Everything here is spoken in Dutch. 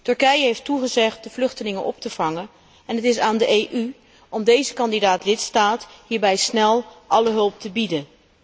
Turkije heeft toegezegd de vluchtelingen op te vangen en het is aan de EU om deze kandidaat lidstaat hierbij snel alle hulp te bieden.